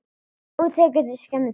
Og það tekur skemmri tíma.